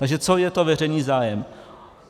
Takže co je to veřejný zájem.